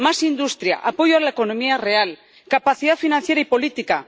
más industria, apoyo a la economía real, capacidad financiera y política